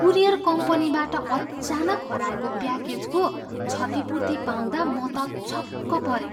Courier कम्पनीबाट अचानक हराएको प्याकेजको क्षतिपूर्ति पाउँदा म त छक्क परेँ।